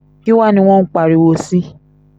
kí wàá ní wọ́n ń pariwo sí